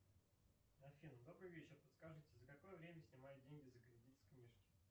афина добрый вечер подскажите за какое время снимают деньги за кредит с книжки